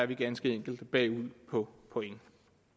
vi ganske enkelt er bagud på point